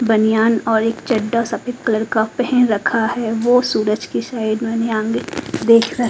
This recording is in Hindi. बनियान और एक चड्डा सफ़ेद कलर का पहन रखा है वो सूरज की साइड में धियान से देख रहे है।